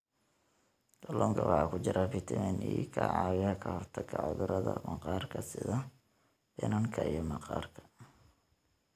Kalluunka waxaa ku jira fiitamiin e ka caawiya ka hortagga cudurrada maqaarka sida finanka iyo maqaarka.